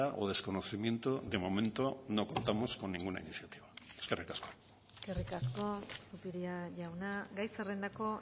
o desconocimiento de momento no contamos con ninguna iniciativa eskerrik asko eskerrik asko zupiria jauna gai zerrendako